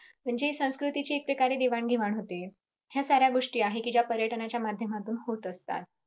म्हणजे संस्कृतीची एक प्रकारे देवाणघेवाण होते ह्या साऱ्या गोष्टी आहे कि ज्या पर्यटनाच्या माध्यमातून होत असतात.